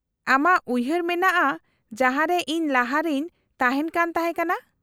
-ᱟᱢᱟᱜ ᱩᱭᱦᱟᱹᱨ ᱢᱮᱱᱟᱜᱼᱟ ᱡᱟᱦᱟᱸ ᱨᱮ ᱤᱧ ᱞᱟᱦᱟ ᱨᱮᱧ ᱛᱟᱦᱮᱱ ᱠᱟᱱ ᱛᱟᱦᱮᱸ ᱠᱟᱱᱟ ?